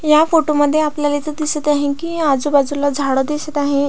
ह्या फोटो मध्ये आपल्याला इथे दिसत आहे की आजूबाजूला झाडं दिसत आहे.